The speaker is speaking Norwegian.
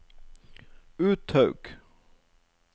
Uthaug